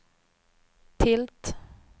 tilt